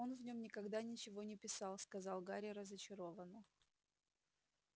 он в нём никогда ничего не писал сказал гарри разочарованно